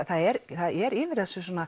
það er það er yfir þessu